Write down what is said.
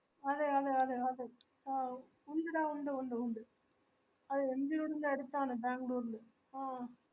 അതെ അതെ അതെ ആഹ് ഉണ്ടെടാ ഉണ്ട് ഉണ്ട് ഉണ്ട് mgroad ൻറെ അടുത്താണ് ബാംഗ്ളൂർ ല് ആഹ്